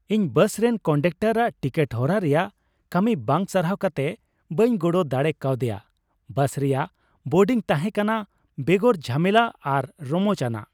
ᱤᱧ ᱵᱟᱥ ᱨᱮᱱ ᱠᱚᱱᱰᱚᱠᱴᱟᱨᱟᱜ ᱴᱤᱠᱤᱴ ᱦᱚᱨᱟ ᱨᱮᱭᱟᱜ ᱠᱟᱹᱢᱤ ᱵᱟᱝ ᱥᱟᱨᱦᱟᱣ ᱠᱟᱛᱮ ᱵᱟᱹᱧ ᱜᱚᱲᱚ ᱫᱟᱲᱮ ᱠᱟᱣᱫᱮᱭᱟ ᱾ ᱵᱟᱥ ᱨᱮᱭᱟᱜ ᱵᱳᱨᱰᱤᱝ ᱛᱟᱦᱮᱸ ᱠᱟᱱᱟ ᱵᱮᱜᱚᱨ ᱡᱷᱟᱢᱮᱞᱟ ᱟᱨ ᱨᱚᱢᱚᱪᱼᱟᱱᱟᱜ ᱾